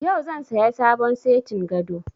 Yau zan saya sabon setin gado